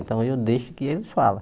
Então eu deixo que eles falem.